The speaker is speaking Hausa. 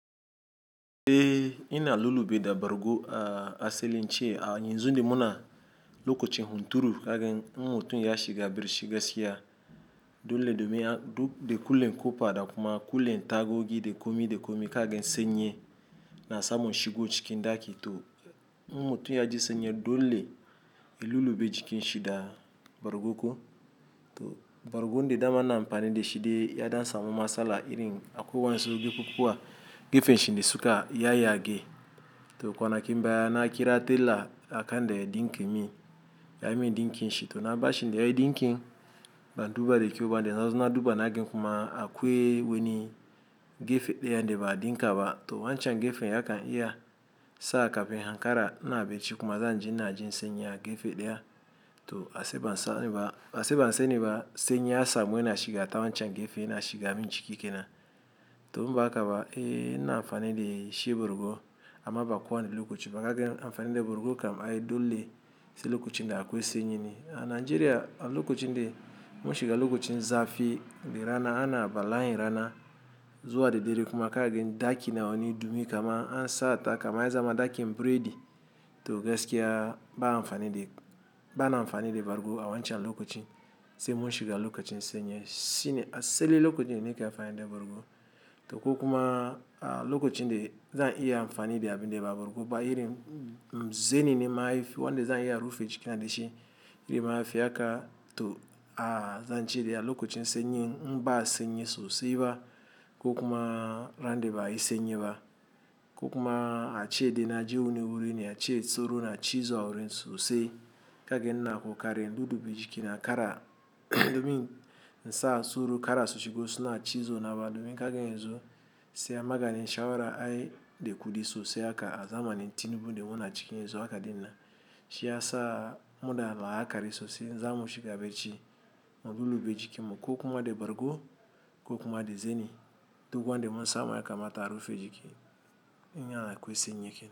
Eh ina lullube da bargo a asalin ce a yanzu de muna lokacin hunturu kagen mutun ya shiga bircii gaskiya dole dome de kule kopa da kuma kule tagogi de komi de komi kagen sanyi na samon shigo cikin daki to idan mutun ya ji sanyi dole ya lullube jikin shi da bargoko. To bargon de dama na amfani da shi de ya dam samo matsala irin akuwan zo gefe kuwa gefen shi de suka ya yage to kwana kimba ya na kira tela akan de din kimin, ya min din kin shi to na bashi ne yayi din kin ban duba de kyau ba dan zan zo na duba nagen kuma akuwe wani gefe daya de ba din ka ba to wancan gefen ya kan iya sa ka fin hankara na baci kuma zan ji na ji sennye gefe daya to ashe ban sa ne ba ase ban sa ne ba sanyi ya samu yana shiga ta wancan gefe yana shiga min ciki kenan to mba ka ba eh ina amfani da shi borgo amma ba kuwa ne lokaci ba kagen amfani da borgo kam ai dole sai lokacin da akwe sennyeni. A Najeriya a lokacin de mun shiga lokacin zafi de rana ana bala yin rana zuwa da dare kuma kagen daki na wani dumi kama an sa ta kama ya zama dakin burodi to gaskiya ba amfani da, ba na amfani da borgo a wancan lokacin sai mun shiga lokacin sanyi. Shi ne asali lokacin ne kika amfani da borgo to ko kuma a lokacin de zan iya amfani da abin de ba borgo ba irin zeni ne mafi wanda zan iya a rufe jikin da shi iri mafi aka to a zan ce d ya lokacin sennye mba sanyi sosai ba ko kuma ran de ba isennye ba ko kuma a ce de na ji wune wurin ne a ce tsoro na cizo a wurin sosai kagen na aku kare dudube jikina kara domin nsa suru kara soshego suna cizo na ba domin kagen yanzu sai a maganin shawara ai de kudi sosai aka a zamanin Tinubu de mona cikin yanzu aka dina shi ya sa muna la'akari sosai. Nsa mun shiga bacci mun lullube jikin mu ko kuma de borgo ko kuma de zeni to kuwa de mun samu ya kama ta rufe jiki. In akwai sanyi kenan.